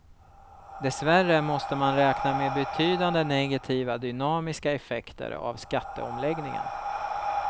Dessvärre måste man räkna med betydande negativa dynamiska effekter av skatteomläggningen.